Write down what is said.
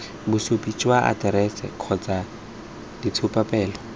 bosupi jwa aterese kgotsa ditshupapele